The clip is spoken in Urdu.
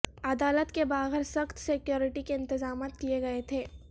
عدالت کے باہر سخت سکیورٹی کے انتظامات کیئے گئے تھے